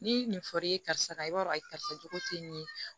Ni nin fɔr'i ye karisa i b'a dɔn a karisa jogo te nin ye